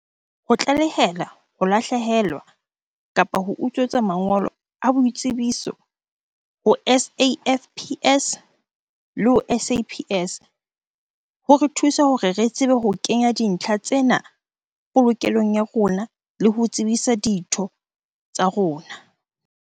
Ho tlaleha ho lahlehelwa kapa ho utswetswa mangolo a boitsebiso ho SAFPS le ho SAPS ho re thusa hore re tsebe ho kenya dintlha tsena polokelong ya rona le ho tsebisa ditho tsa rona.